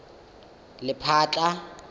lephatla